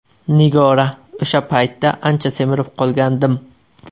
Nigora: O‘sha paytda ancha semirib qolgandim.